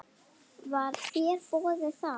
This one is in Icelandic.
Var þér boðið það?